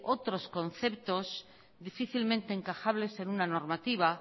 otros conceptos difícilmente encajables en una normativa